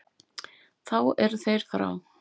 Þá eru þeir frá.